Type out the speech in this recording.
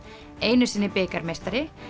einu sinni bikarmeistari